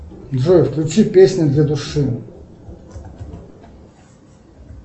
джой включи песни для души